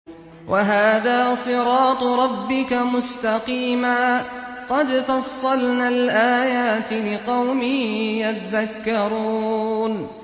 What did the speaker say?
وَهَٰذَا صِرَاطُ رَبِّكَ مُسْتَقِيمًا ۗ قَدْ فَصَّلْنَا الْآيَاتِ لِقَوْمٍ يَذَّكَّرُونَ